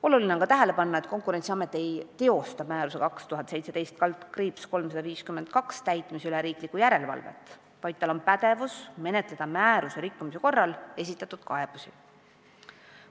Oluline on ka tähele panna, et Konkurentsiamet ei teosta määruse 2017/352 täitmise üle riiklikku järelevalvet, vaid tal on pädevus menetleda määruse rikkumise korral esitatud kaebusi.